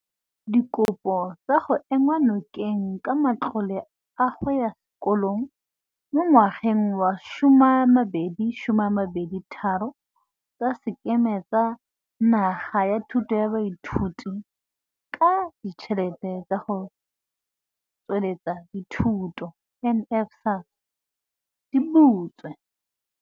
Dikopo tsa go enngwa nokeng ka matlole a go ya sekolong mo ngwageng wa 2023 tsa Sekema sa Naga sa Thuso ya Baithuti ka Ditšhelete tsa go Tsweletsa Dithuto NSFAS di butswe.